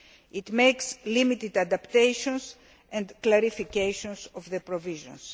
It makes limited adaptations and clarifications of the provisions.